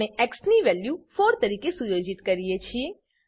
આપણે એક્સ ની વેલ્યુ 4 તરીકે સુયોજિત કરીએ છીએ